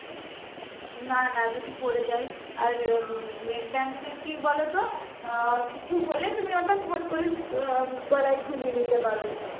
না না যদি পড়ে যাই আর উম neckband এ কি বলতো আহ কিছু হলে তুমি ওটা ফট করে আহ গলায় ঝুলিয়ে নিতে পার